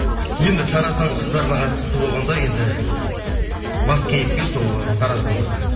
енді тараздың қыздарына қатысты болғанда енді бас кейіпкер сол тараздың қызы